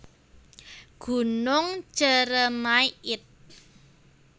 Gunung Ceremai id